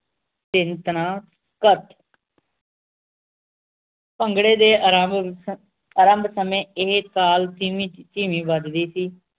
ਧਿਨ ਧਨਾ ਧ ਭਨਾਗਰੇ ਦੇ ਅਰਭ ਆਰੰਭ ਸਮੇ ਇਹ ਤਾਲ ਧੀਮੀ ਝਈਵੀਂ ਵੱਜਦੀ ਸੀ